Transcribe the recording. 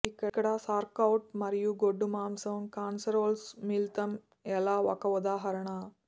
ఇక్కడ సౌర్క్క్రాట్ మరియు గొడ్డు మాంసం కాస్సెరోల్స్ మిళితం ఎలా ఒక ఉదాహరణ